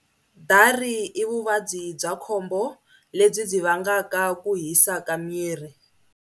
Dari i vuvabyi bya khombo lebyi byi vangaka ku hisa ka miri.